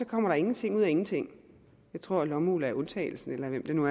kommer ingenting ud af ingenting jeg tror lommeuld er undtagelsen hvem det nu